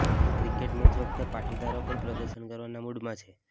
તો cricket match વખતે પાટીદારો પણ પ્રદર્શન કરવાના મુડમાં છે